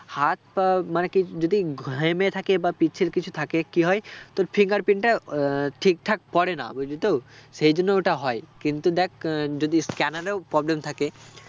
হাতটা মানে কি যদি ঘেমে থাকে বা পিচ্ছিল কিছু থাকে কি হয় তোর fingerprint টা আহ ঠিকঠাক পরে না বুঝলি তো সেই জন্য ওটা হয় কিন্তু দ্যাখ আহ যদি scanner এও problem থাকে